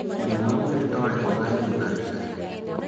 Mũrimũ wa Muir Torre ũgaĩrũo na njĩra ĩrĩkũ?